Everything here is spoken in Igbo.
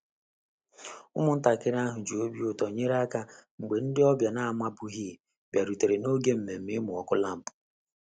Ụmụntakịrị ahụ ji obi ụtọ nyere aka mgbe ndị ọbịa na-amabughị bịarutere n'oge nmenme imu ọkụ lampụ